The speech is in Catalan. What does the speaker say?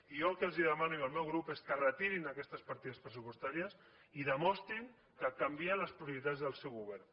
i jo el que els demano el meu grup és que retirin aquestes partides pressupostàries i demostrin que canvien les prioritats del seu govern